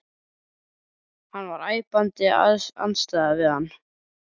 Hann var æpandi andstæða við hana.